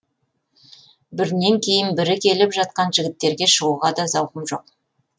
бірінен кейін бірі келіп жатқан жігіттерге шығуға да зауқым жоқ